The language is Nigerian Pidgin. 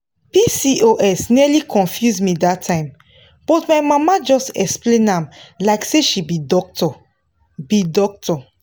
pcos nearly confuse me that time but my mama just explain am like say she be doctor. be doctor.